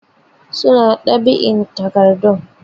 Su na ɗab'in takardu.